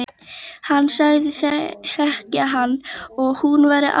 Hann sagðist þekkja hana og hún væri ágæt.